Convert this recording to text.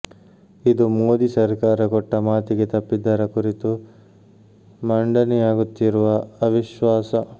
ಇದು ಮೋದಿ ಸರ್ಕಾರ ಕೊಟ್ಟ ಮಾತಿಗೆ ತಪ್ಪಿದ್ದರ ಕುರಿತು ಮಂಡನೆಯಾಗುತ್ತಿರುವ ಅವಿಶ್ವಾಸ